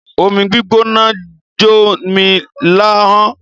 Omi gbígbóná jó mi láhọ́n.